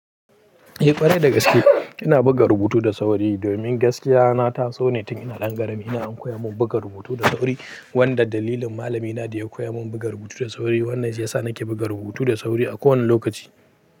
Eh ƙwarai da gaske. Ina buga rubutu da sauri domin gaskiya na taso ne tun ina ɗan ƙarami. Ina an koya mun buga rubutu da sauri wanda dalilin malamina da ya koya mun buga rubutu da sauri. Wannan shi ya sa nake buga rubutu da sauri a kowane lokaci.